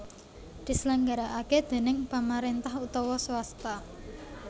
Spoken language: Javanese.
diselenggarakaké déning pamaréntah utawa swasta